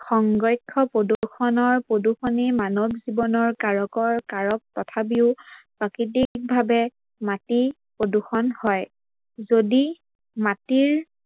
সংৰক্ষ প্ৰদূৰ্ষনৰ প্ৰদূৰ্ষনী মানৱ জীৱনৰ কাৰকৰ কাৰক তথাপিও মাটি প্ৰদূৰ্ষন হয়। যদি মাটিৰ